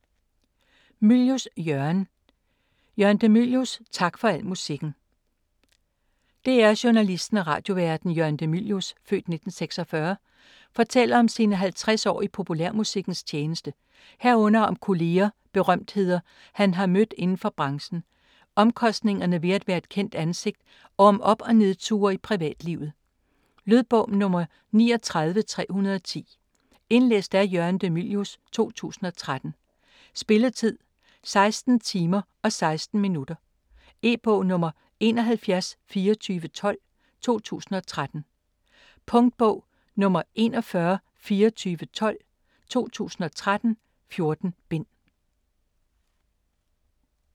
Mylius, Jørgen de: Jørgen de Mylius - tak for al musikken DR-journalisten og radioværten Jørgen de Mylius (f. 1946) fortæller om sine 50 år i populærmusikkens tjeneste herunder om kolleger, berømtheder han har mødt inden for branchen, omkostningerne ved at være et kendt ansigt og om op- og nedture i privatlivet. Lydbog 39310 Indlæst af Jørgen de Mylius, 2013. Spilletid: 16 timer, 16 minutter. E-bog 712412 2013. Punktbog 412412 2013. 14 bind.